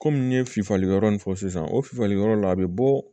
Kɔmi n ye fifali yɔrɔ nin fɔ sisan o fifaliyɔrɔ la a bɛ bɔ